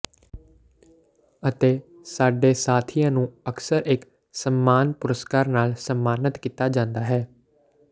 ਅਤੇ ਸਾਡੇ ਸਾਥੀਆਂ ਨੂੰ ਅਕਸਰ ਇਕ ਸਨਮਾਨ ਪੁਰਸਕਾਰ ਨਾਲ ਸਨਮਾਨਤ ਕੀਤਾ ਜਾਂਦਾ ਹੈ